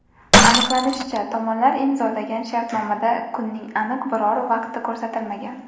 Aniqlanishicha, tomonlar imzolagan shartnomada kunning aniq biror vaqti ko‘rsatilmagan.